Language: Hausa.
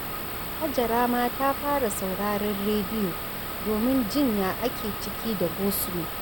Hajara ma ta fara sauraron rediyo domin jin ya ake ciki da gosulo